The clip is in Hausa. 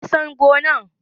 wa ya san gone?